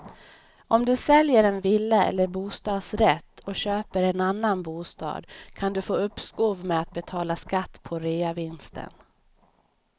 Om du säljer en villa eller bostadsrätt och köper en annan bostad kan du få uppskov med att betala skatt på reavinsten.